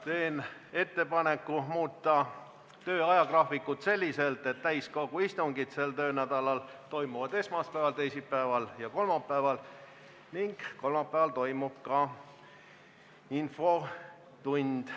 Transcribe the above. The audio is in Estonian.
Teen ettepaneku muuta tööajagraafikut selliselt, et täiskogu istungid toimuksid sel töönädalal esmaspäeval, teisipäeval ja kolmapäeval ning kolmapäeval toimuks ka infotund.